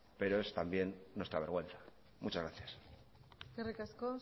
pero es también nuestra vergüenza muchas gracias eskerrik asko